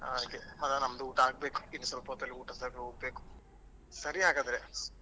ಹಾಗೆ ಮತ್ತೆ ನಮ್ಮದು ಊಟ ಆಗ್ಬೇಕು ಇನ್ನು ಸ್ವಲ್ಪ ಹೊತ್ತಲ್ಲಿ ಊಟಕ್ಕೆ ಹೋಗ್ಬೇಕು ಸರಿ ಹಾಗಾದ್ರೆ.